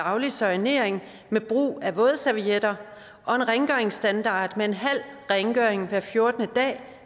daglig soignering med brug af vådservietter og en rengøringsstandard med en halv rengøring hver fjortende dag